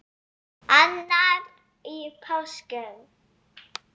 Annar í páskum.